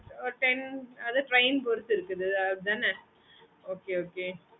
okay mam